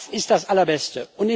Das ist das Allerbeste.